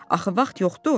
Axı vaxt yoxdu.